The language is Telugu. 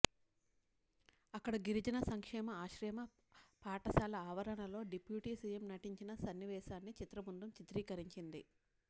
అక్కడి గిరిజన సంక్షేమ ఆశ్రమ పాఠశాల ఆవరణలో డిప్యూటీ సీఎం నటించిన సన్నివేశాన్ని చిత్రబృందం చిత్రీకరించింది